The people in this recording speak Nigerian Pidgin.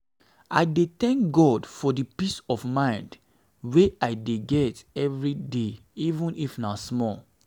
i dey tank god for di peace of of mind wey i dey get evriday even if na small